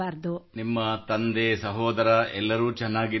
ನಿಮ್ಮ ತಂದೆ ಸಹೋದರ ಎಲ್ಲರೂ ಚೆನ್ನಾಗಿದ್ದಾರೆಯೇ